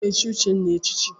Ị ga-echi Udenna echichi!